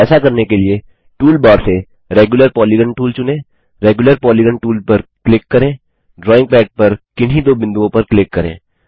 ऐसा करने के लिए टूलबार से रेग्यूलर पॉलीगॉन टूल चुनें रेग्यूलर पॉलीगॉन टूल पर क्लिक करें ड्राइंग पद पर किन्हीं दो बिंदुओं पर क्लिक करें